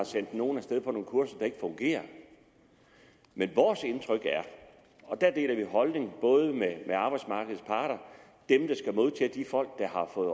sendt nogen af sted på nogle kurser der ikke fungerer vores indtryk er og der deler vi holdning med arbejdsmarkedets parter dem der skal modtage de folk der har fået